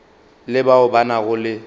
le bao ba nago le